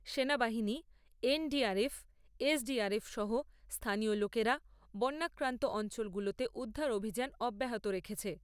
সেনা বাহিনী, NDRF, SDRF সহ স্থানীয় লোকেরা বন্যাক্রান্ত অঞ্চলগুলোতে উদ্ধার অভিযান অব্যাহত রেখেছে।